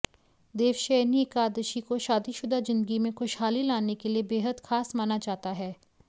देवशयनी एकादशी को शादीशुदा जिन्दगी में खुशहाली लाने के लिए बेहद खास माना जाता है